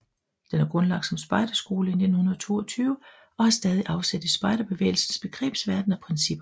Den er grundlagt som spejderskole i 1922 og har stadig afsæt i spejderbevægelsens begrebsverden og principper